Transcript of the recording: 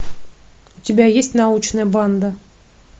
у тебя есть научная банда